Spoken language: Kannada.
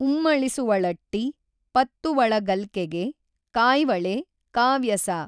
ಉಮ್ಮಳಿಸುವಳಟ್ಟಿ ಪತ್ತುವಳಗಲ್ಕೆಗೆ ಕಾಯ್ವಳೆ ಕಾವ್ಯಸಾ.